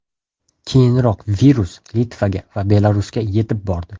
Keyinroq virus Litvaga va Belarusga yetib bordi.